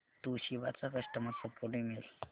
Toshiba चा customer support email